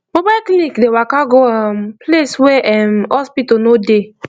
mobile clinic dey waka go um place wey erm hospital no dey